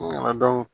Wala